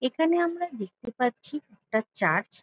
এখানে আমরা দেখতে পাচ্ছি একটা চার্চ ।